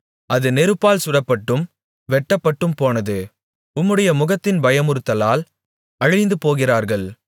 அது நெருப்பால் சுடப்பட்டும் வெட்டப்பட்டும் போனது உம்முடைய முகத்தின் பயமுறுத்தலால் அழிந்துபோகிறார்கள்